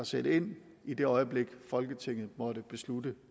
sætte ind i det øjeblik folketinget måtte beslutte